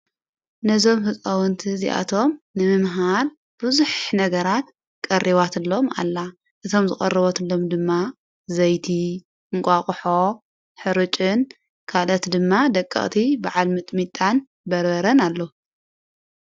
ነዞም ሕጾውንቲ እዚኣቶም ንምምሃር ብዙኅ ነገራት ቀሪባትሎም ኣላ እቶም ዝቐርበትሎም ድማ ዘይቲ ፣እንቋቕሖ፣ ሕርጭን ካልኦት ድማ ደቀቕቲ በዓል ምጥሚጣን በረበረን ኣላ።